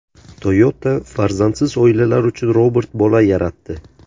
Toyota farzandsiz oilalar uchun robot bola yaratdi.